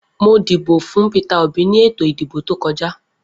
Mo dìbò fún Peter Obi ni ètò ìdìbò tojá.